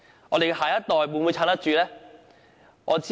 我們的下一代，又是否有能力支撐？